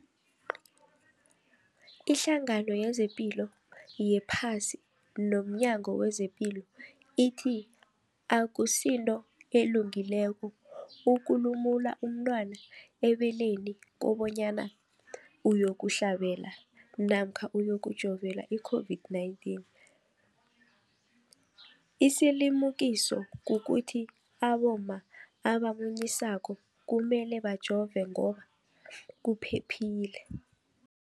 Ipendulo, iHlangano yezePilo yePhasi nomNyango wezePilo ithi akusinto elungileko ukulumula umntwana ebeleni kobanyana uyokuhlabela namkha uyokujovela i-COVID-19. Isilimukiso kukuthi abomma abamunyisako kumele bajove ngoba kuphephile.